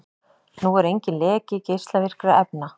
Nú er enginn leki geislavirkra efna